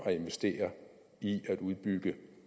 at investere i at udbygge